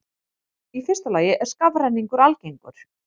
Í fyrsta lagi er skafrenningur algengur.